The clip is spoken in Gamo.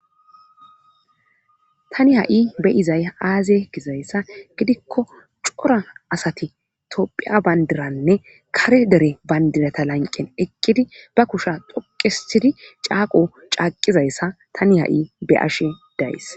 tani ha7i be izay aaze gizayssa gidikko cora asati topphiya bandiranne kare dere bandirata lanqen eqqidi ba kusha dhoqisidi caaqo caaqizayssa tani ha7i be ashe days